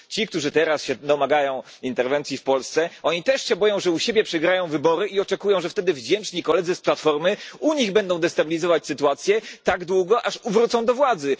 Bo ci, którzy teraz domagają się interwencji w Polsce, też się boją, że u siebie przegrają wybory, i oczekują, że wtedy wdzięczni koledzy z Platformy u nich będą destabilizować sytuację tak długo, aż wrócą do władzy.